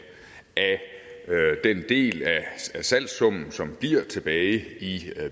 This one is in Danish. af den del af salgssummen som bliver tilbage i